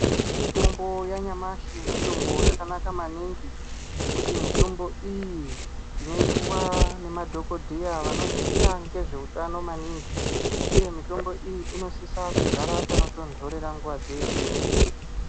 Mitombo yanyamashi mitombo yakanaka maningi ngekuti mitombo iyi tinoipuwa nemadhokodheya vanoziya ngezveutano maningi uye mitombo iyi inosisa kugara panotondorera nguva dzeshe.